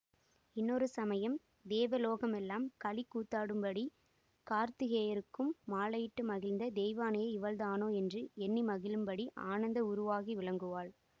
இன்னொரு சமயம் தேவலோகமெல்லாம் களிக் கூத்தாடும்படி கார்த்திகேயருக்கு மாலையிட்டு மகிழ்ந்த தெய்வயானை இவளேதான் என்று எண்ணி மகிழும்படி ஆனந்த உருவாகி விளங்குவாள்